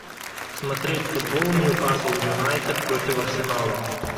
смотреть футбол ньюкасл юнайтед против арсенала